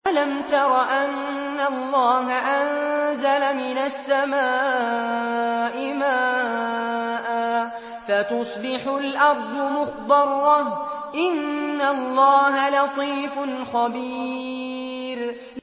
أَلَمْ تَرَ أَنَّ اللَّهَ أَنزَلَ مِنَ السَّمَاءِ مَاءً فَتُصْبِحُ الْأَرْضُ مُخْضَرَّةً ۗ إِنَّ اللَّهَ لَطِيفٌ خَبِيرٌ